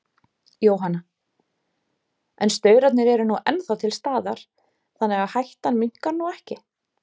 Jóhanna: En staurarnir eru nú ennþá til staðar, þannig að hættan minnkar nú ekki?